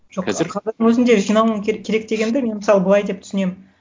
жоқ өзінде жинауың керек дегенді мен мысалы былай деп түсінемін